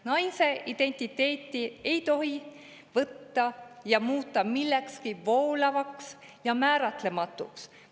Naise identiteeti ei tohi võtta ja muuta millekski voolavaks ja määratlematuks.